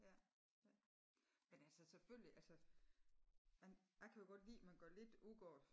Ja ja men altså selvfølgelig altså man a kan jo godt lide at man går lidt ud af det